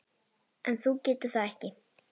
En þú getur það ekki.